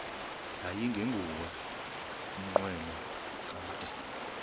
yayingenguwo umnqweno kadr